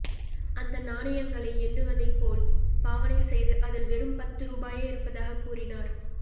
அந்த நாணயங்களை எண்ணுவதைப்போல் பாவனை செய்து அதில் வெறும் பத்து ரூபாயே இருப்பதாகக் கூறினார்